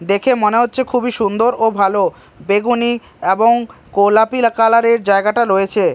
দেখে মনে হচ্ছে খুবই সুন্দর ও ভালো বেগুনী এবং কোলাপি কালার -এর জায়গাটা রয়েছে।